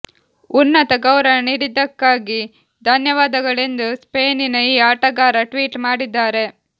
ಉನ್ನತ ಗೌರವ ನೀಡಿದ್ದಕ್ಕಾಗಿ ಧನ್ಯವಾದಗಳು ಎಂದು ಸ್ಪೇನಿನ ಈ ಆಟಗಾರ ಟ್ವೀಟ್ ಮಾಡಿದ್ದಾರೆ